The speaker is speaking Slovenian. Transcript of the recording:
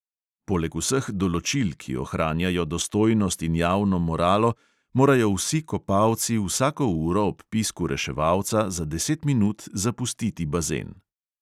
Poleg vseh določil, ki ohranjajo dostojnost in javno moralo, morajo vsi kopalci vsako uro ob pisku reševalca za deset minut zapustiti bazen.